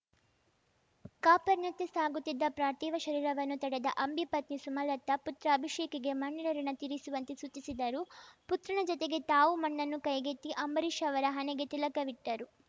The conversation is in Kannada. ಕಾಪರ್‌ನತ್ತ ಸಾಗುತ್ತಿದ್ದ ಪ್ರಾರ್ಥಿವ ಶರೀರವನ್ನು ತಡೆದ ಅಂಬಿ ಪತ್ನಿ ಸುಮಲತಾ ಪುತ್ರ ಅಭಿಷೇಕ್‌ಗೆ ಮಣ್ಣಿನ ಋುಣ ತೀರಿಸುವಂತೆ ಸೂಚಿಸಿದರು ಪುತ್ರನ ಜತೆಗೆ ತಾವೂ ಮಣ್ಣನ್ನು ಕೈಗೆತ್ತಿ ಅಂಬರೀಷ್‌ ಅವರ ಹಣೆಗೆ ತಿಲಕವಿಟ್ಟರು